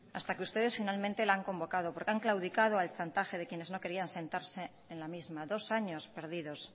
hasta que ustedes finalmente la han convocado porque han claudicado al chantaje de quienes no querían sentarse en la misma dos años perdidos